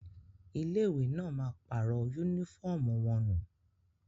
Ilé ìwé náà ma pàrọ̀ yúnífọ̀mù wọnú